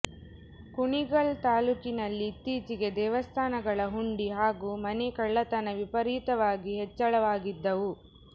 ಕುಣಿಗಲ್ ತಾಲೂಕಿನಲ್ಲಿಇತ್ತೀಚೆಗೆ ದೇವಸ್ಥಾನಗಳ ಹುಂಡಿ ಹಾಗೂ ಮನೆ ಕಳ್ಳತನ ವಿಪರೀತವಾಗಿ ಹೆಚ್ಚಳವಾಗಿದ್ದವು